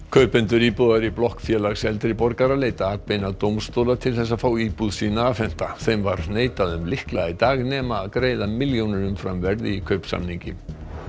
kaupendur íbúðar í blokk Félags eldri borgara leita atbeina dómstóla til þess að fá íbúð sína afhenta þeim var neitað um lykla í dag nema greiða milljónir umfram verð í kaupsamningi